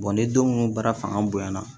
ni denw baara fanga bonyana